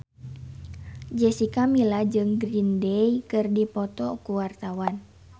Jessica Milla jeung Green Day keur dipoto ku wartawan